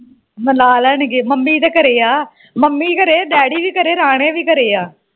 ਮਿਲਾ ਲੈਣਗੇ ਮੰਮੀ ਤੇ ਘਰੇ ਆ ਮੰਮੀ ਘਰੇ ਡੈਡੀ ਵੀ ਘਰੇ ਰਾਣੇ ਵੀ ਘਰੇ ਆ